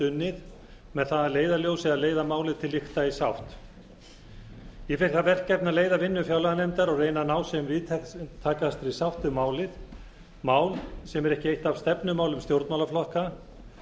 unnið með það að leiðarljósi að leiða málið til lykta í sátt ég fékk það verkefni að leiða vinnu fjárlaganefndar og reyna að ná sem víðtækastri sátt um málið mál sem er ekki eitt af stefnumálum stjórnmálaflokka